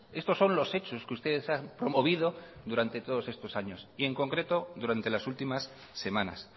estos son los hechos que ustedes han promovido durante todos estos años y en concreto durante las últimas semanas